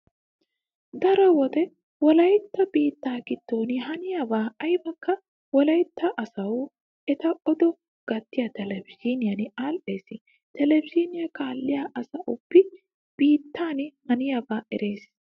Daro wode wolaytta biittaa giddon haniyaba aybaykka wolaytta asawu eta odo gattiya televizhiiniyan aadhdhees. Televizhiiniya kaalliua asauba biityan haniyaabaa erees.